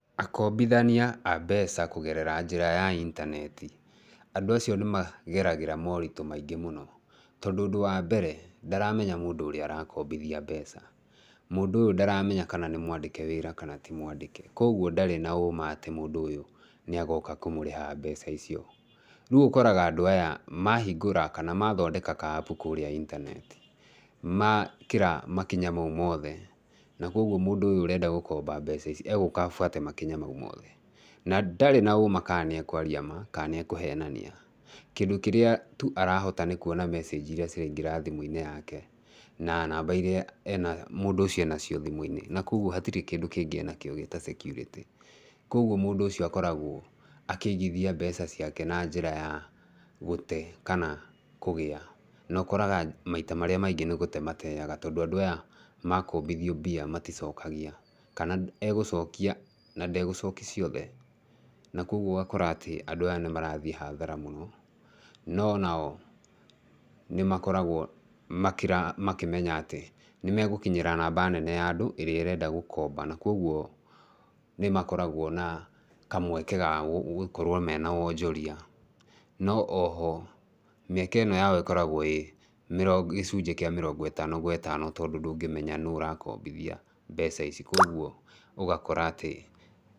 Akombithania a mbeca kũgerera njĩra ya intaneti, andũ acio nĩ mageragĩra moritũ maingĩ mũno. Tondũ ũndũ wa mbere ndaramenya mũndũ ũrĩa arakombithia mbeca, múndũ ũyũ ndaramenya kana nĩ mwandĩke wĩra kana ti mwandĩke. Koguo ndarĩ na ũũma atĩ mũndũ ũcio nĩ agoka kũmũrĩha mbeca icio. Rĩu ũkoraga andũ aya mahingũra kana mathondeka ka App kũrĩa intaneti, makĩra makinya mau mothe, na kwoguo mũndũ ũyũ ũrenda gũkomba mbeca ici egũka abuate makinya mau mothe na ndarĩ na ũũma kana nĩ ekũaria ma kana nĩ ekũhenania. Kĩndũ kĩrĩa tu arahota nĩ kuona message irĩa ciraingĩra thimũ-inĩ yake na namba irĩa mũndũ ũcio enacio thimũ-inĩ, na kwoguo gũtirĩ kĩndũ kĩngĩ enakĩo ta security. Koguo mũndũ ũcio akoragwo akĩigithia mbeca ciake na njĩra ya gũte kana kũgĩa, no ũkoraga maita marĩa maingĩ nĩ gũte mateaga tondũ andũ aya makombithio mbia maticokagia kana egũcokia na ndegũcokia ciothe. Na kwoguo ũgakora atĩ andũ aya nĩ marathiĩ hathara mũno, no nao nĩ makoragwo makĩmenya atĩ nĩmegũkinyĩra namba nene ya andũ ĩrĩa ĩrenda gũkomba. Na kwoguo nĩ makoragwo mena kamweke ga gũkorwo mena wonjoria. No oho mĩeke ĩno yao ĩkoragwo ĩĩ gĩcunjĩ kĩa mĩrongo ĩtano gwe ĩtano tondũ ndũngĩmenya nũ ũrakombithia mbeca ici. Kwoguo ũgakora atĩ...